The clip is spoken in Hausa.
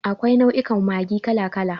Akwai nau'ukan Maggi kala kala.